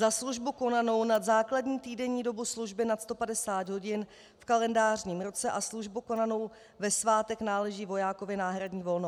Za službu konanou nad základní týdenní dobu služby nad 150 hodin v kalendářním roce a službu konanou ve svátek náleží vojákovi náhradní volno."